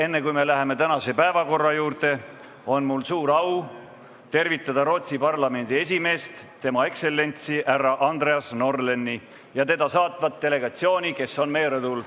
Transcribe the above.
Enne, kui me läheme tänase päevakorra juurde, on mul suur au tervitada Rootsi parlamendi esimeest tema ekstsellentsi härra Andreas Norléni ja teda saatvat delegatsiooni, kes on meie rõdul.